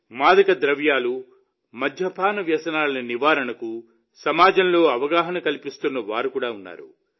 మాదకద్రవ్యాలు మద్యపాన వ్యసనాల నివారణకు సమాజంలో అవగాహన కల్పిస్తున్న వారు కూడా ఉన్నారు